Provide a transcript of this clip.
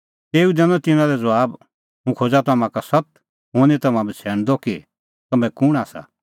तेऊ दैनअ तिन्नां लै ज़बाब हुंह खोज़ा तम्हां का सत्त हुंह निं तम्हां बछ़ैणदअ कि तम्हैं कुंण आसा